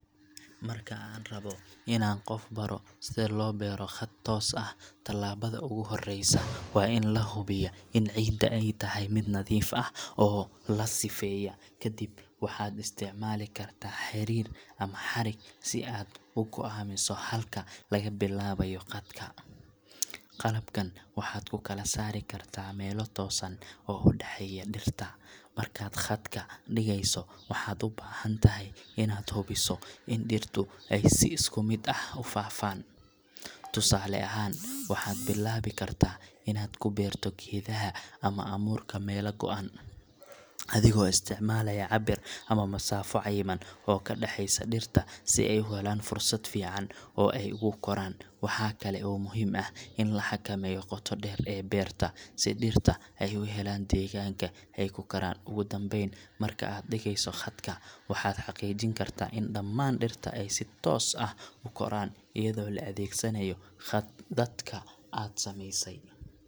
Marka aan rabo inaan qof baro sida loo beero khad toos ah, tallaabada ugu horeysa waa in la hubiyo in ciidda ay tahay mid nadiif ah oo la sifeeyay. Kadib, waxaad isticmaali kartaa xariir ama xadhig si aad u go'aamiso halka laga bilaabayo khadka. Qalabkan waxaad ku kala saari kartaa meelo toosan oo u dhexeeya dhirta. Markaad khadka dhigayso, waxaad u baahan tahay inaad hubiso in dhirtu ay si isku mid ah u faafaan. Tusaale ahaan, waxaad bilaabi kartaa inaad ku beerto geedaha ama abuurka meelo go'an, adigoo isticmaalaya cabir ama masaafo cayiman oo ka dhexeysa dhirta si ay u helaan fursad fiican oo ay ugu koraan. Waxaa kale oo muhiim ah in la xakameeyo qoto dheer ee beerta, si dhirta ay u helaan deegaanka ay ku koraan. Ugu dambeyn, marka aad dhigayso khadka, waxaad xaqiijin kartaa in dhammaan dhirta ay si toos ah u koraan iyadoo la adeegsanayo khadadka aad sameysay.